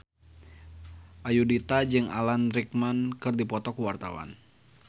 Ayudhita jeung Alan Rickman keur dipoto ku wartawan